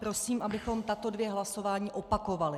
Prosím, abychom tato dvě hlasování opakovali.